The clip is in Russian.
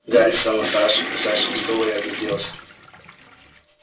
гарри сел на краешек ближайшего стула и огляделся